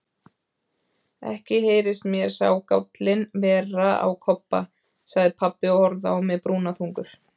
Ekki heyrist mér sá gállinn vera á Kobba, sagði pabbi og horfði á mig brúnaþungur.